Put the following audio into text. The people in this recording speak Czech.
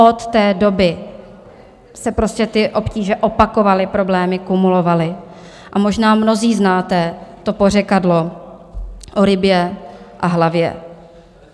Od té doby se prostě ty obtíže opakovaly, problémy kumulovaly, a možná mnozí znáte to pořekadlo o rybě a hlavě.